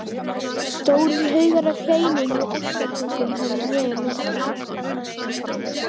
Stórir haugar af kleinum og ástarpungum höfðu þegar myndast.